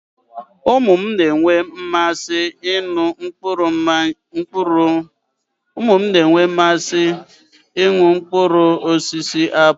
Ụmụ mụ na-enwe mmasị ị nụ mmanya mkpụrụosisi apụlụ